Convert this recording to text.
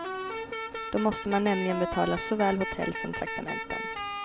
Då måste man nämligen betala såväl hotell som traktamenten.